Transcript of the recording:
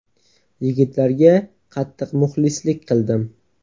Yigitlarga qattiq muxlislik qildim.